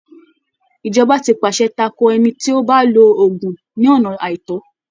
Ìjọba ti pàṣẹ tako ẹni tí ó bá ń lo oògùn ní ọ̀nà àìtọ́.